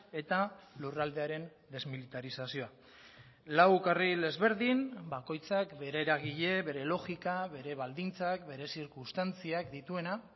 eta lurraldearen desmilitarizazioa lau karril ezberdin bakoitzak bere eragile bere logika bere baldintzak bere zirkunstantziak dituena